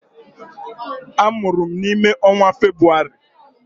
Amụrụ m n'ime ọnwa Febrụwarị.